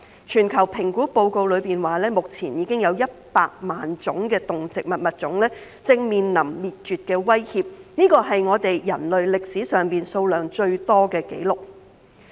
全球評估報告指，目前已經有100萬種的動植物物種正面臨滅絕的威脅，這是人類歷史上數量最多的紀錄。